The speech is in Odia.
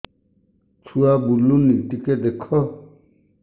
ଛୁଆ ବୁଲୁନି ଟିକେ ଦେଖ